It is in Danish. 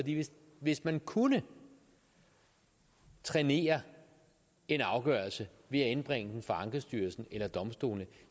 hvis man kunne trænere en afgørelse ved at indbringe den for ankestyrelsen eller domstolene